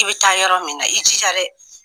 I bɛ taa yɔrɔ min na, i jija dɛ!